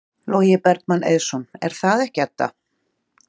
Logi Bergmann Eiðsson: Er það ekki, Edda?